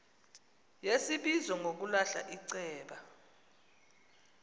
yesibizo ngokulahla iceba